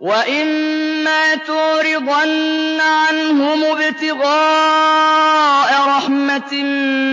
وَإِمَّا تُعْرِضَنَّ عَنْهُمُ ابْتِغَاءَ رَحْمَةٍ